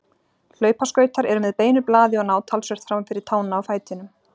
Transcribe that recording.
Hlaupaskautar eru með beinu blaði og ná talsvert fram fyrir tána á fætinum.